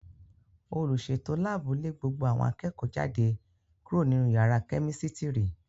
Olùsètò láàbù lé gbogbo àwọn akẹ́kọ̀ọ́ jáde kúrò nínú yàrá kẹ́mísítírì